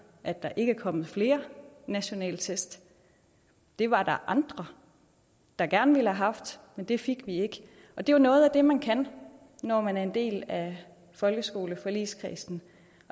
at der ikke er kommet flere nationale test det var der andre der gerne ville have haft men det fik vi ikke og det er noget af det man kan når man er en del af folkeskoleforligskredsen